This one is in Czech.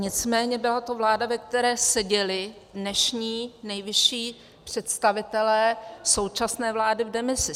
Nicméně byla to vláda, ve které seděli dnešní nejvyšší představitelé současné vlády v demisi.